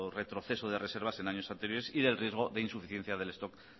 retroceso de reservas en años anteriores y del riesgo de insuficiencia del stock